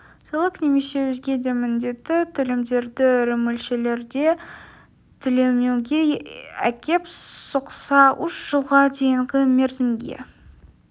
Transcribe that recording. салық немесе өзге де міндетті төлемдерді ірі мөлшерде төлемеуге әкеп соқса үш жылға дейінгі мерзімге